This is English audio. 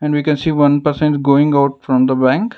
and we can see one person is going out from the bank.